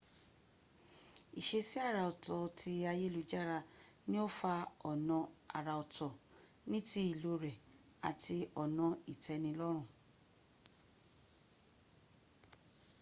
ìṣesí arà ọ̀tọ̀ tí ayélujára ni ó fa ọ̀nà àrà ọ̀tọ̀, ní ti ìlò rẹ̀ àti ọ̀nà ìtẹ́nilọ́rùn